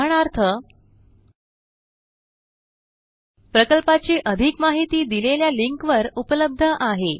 उदाहरणार्थ 19435 gt 53491 प्रकल्पाची अधिक माहिती दिलेल्या लिंकवर उपलब्ध आहे